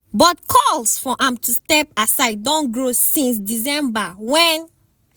but calls for am to step aside don grow since december wen